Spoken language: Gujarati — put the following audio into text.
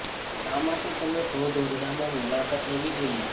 શા માટે તમે શોધ ઓરડામાં મુલાકાત લેવી જોઈએ